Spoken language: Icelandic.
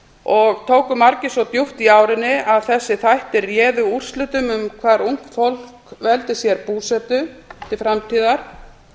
og tóku margir svo djúpt í árinni að þessir þættir réðu úrslitum um hvar ungt fólk veldi sér búsetu til framtíðar